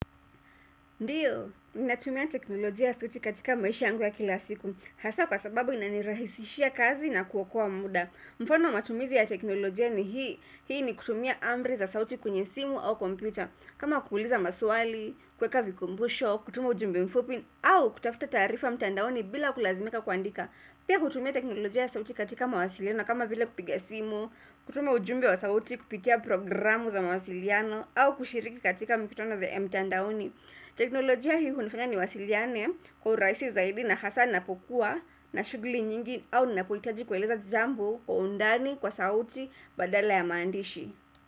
Ndiyo, ninatumia teknolojia ya suti katika maisha yangu ya kila siku. Hasa kwa sababu inanirahisishia kazi na kuokoa muda. Mfano matumizi ya teknolojia ni hii, hii ni kutumia amri za sauti kwenye simu au computer. Kama kuuliza maswali, kuweka vikumbusho, kutuma ujumbe mfupi au kutafuta taarifa mtandaoni bila kulazimika kuandika. Pia hutumia teknolojia ya sauti katika mawasiliano kama vile kupiga simu, kutuma ujumbe wa sauti, kupitia program za mawasiliano au kushiriki katika mikutano za mtandaoni. Teknolojia hii hunifanya niwasiliane kwa urahisi zaidi na hasa napokuwa na shuguli nyingi au ninapohitaji kueleza jambo kwa undani, kwa sauti, badala ya maandishi.